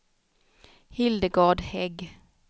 Hildegard Hägg